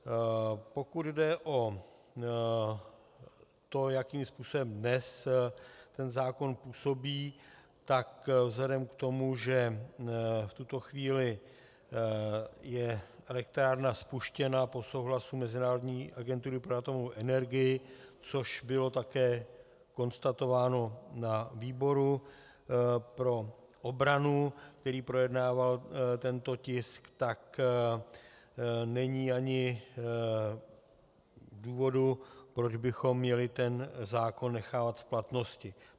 Pokud jde o to, jakým způsobem dnes ten zákon působí, tak vzhledem k tomu, že v tuto chvíli je elektrárna spuštěna po souhlasu Mezinárodní agentury pro atomovou energii, což bylo také konstatováno na výboru pro obranu, který projednával tento tisk, tak není ani důvodu, proč bychom měli ten zákon nechávat v platnosti.